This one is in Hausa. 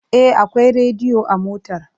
E, akwai rediyo a motar.